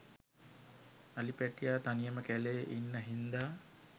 අලි පැටියා තනියම කැලේ ඉන්න හින්දා